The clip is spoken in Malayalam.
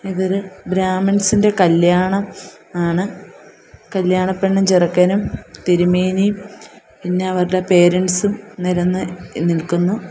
ഇതൊരു ബ്രാഹ്മിൻസ് ഇൻ്റെ കല്യാണം ആണ് കല്യാണ പെണ്ണും ചെറുക്കനും തിരുമേനിയും പിന്നെ അവർടെ പേരൻസും നിരന്ന് നിൽക്കുന്നു.